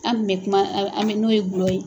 An kun mɛ kuma an mɛ an mɛ n'o ye gulɔ ye.